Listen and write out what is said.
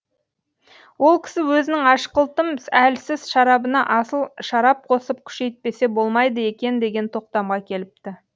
ол кісі өзінің ашқылтым әлсіз шарабына асыл шарап қосып күшейтпесе болмайды екен деген тоқтамға келіпті